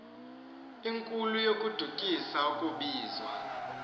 enkulu yokodukisa akubizwa